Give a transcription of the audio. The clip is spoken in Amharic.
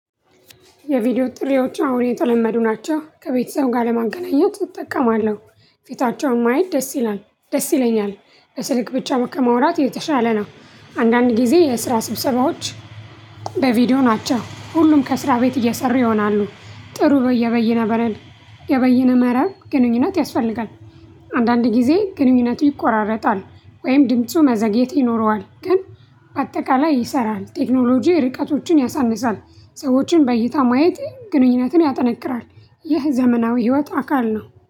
የቪዲዮ ጥሪዎች አሁን እየተለመዱ ናቸው ከቤተሰቡ ጋር ለማገናኘት እጠቀማለሁ ፊታቸውን ማየት ደስ ይላል ደስ ይለኛል በስልክ ብቻ ከመውራት የተሻለ ነው። አንዳንድ ጊዜ የስራ ስብሰባዎች በቪዲዮ ናቸው። ሁሉም ከስራ ቤት እየሰሩ ይሆናሉ። ጥሩ በየበይነ በረል የበይነ መረብ ግንኙነት ያስፈልጋል። አንዳንድ ጊዜ ግንኙነቱ ይቆራረጣል ወይም ድምፁ መዘግየት ይኖረዋል ግን በአጠቃላይ ይሰራል። ቴክኖሎጂ ርቀቶችን ያሳንሳል። ሰዎችን በይታ ማየት ግንኙነትን ያጠነክራል። ይህ ዘመናዊ ህይወት አካል ነው